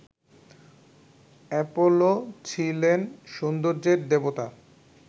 Apollo ছিলেন সৌন্দর্যের দেবতা